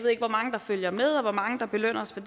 ikke hvor mange der følger med og hvor mange der belønner os for